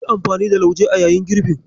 Yi amfani da lauje a yayin girbin.